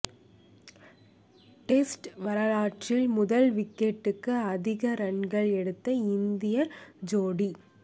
test வரலாற்றில் முதல் விக்கெட்டுக்கு அதிக ரன்கள் எடுத்த இந்திய ஜோடி